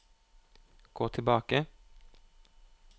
gå tilbake